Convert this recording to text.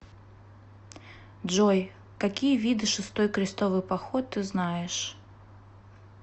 джой какие виды шестой крестовый поход ты знаешь